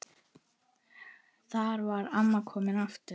Þar var amma komin aftur.